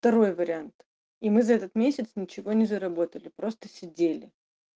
второй вариант и мы за этот месяц ничего не заработали просто сидели